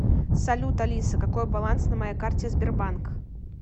салют алиса какой баланс на моей карте сбербанк